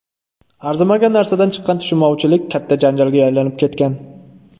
Arzimagan narsadan chiqqan tushunmovchilik katta janjalga aylanib ketgan.